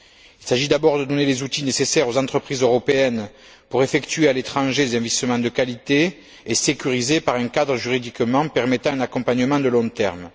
Il s'agit d'abord de donner les outils nécessaires aux entreprises européennes pour effectuer à l'étranger des investissements de qualité et sécurisés par un cadre juridique permettant un accompagnement à long terme.